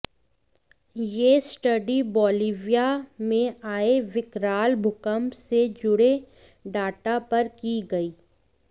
यह study Bolivia में आए विकराल भूकंप से जुड़े डाटा पर की गई